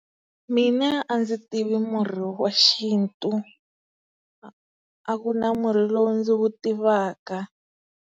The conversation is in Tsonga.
Mina a ndzi tivi murhi wa xintu, a a ku na murhi lowu ndzi wu tivaka.